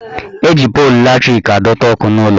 Eji polu latrik adọta ọkụ n'ụlọ